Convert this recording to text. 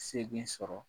Segu sɔrɔ